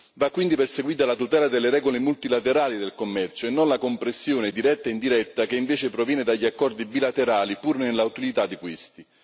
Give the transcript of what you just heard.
Va quindi perseguita la tutela delle regole multilaterali del commercio e non la compressione diretta in diretta, che invece proviene dagli accordi bilaterali, pur nell'utilità di questi.